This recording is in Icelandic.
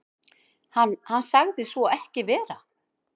Hann sagði svo ekki vera.